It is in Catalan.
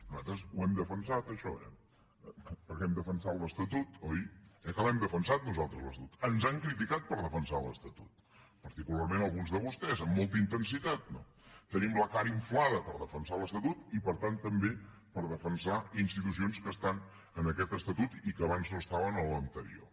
nosaltres ho hem defensat això eh perquè hem defensat l’estatut oi eh que l’hem defensat nosaltres l’estatut ens han criticat per defensar l’estatut particularment alguns de vostès amb molta intensitat no tenim la cara inflada per defensar l’estatut i per tant també per defensar institucions que estan en aquest estatut i que abans no estaven en l’anterior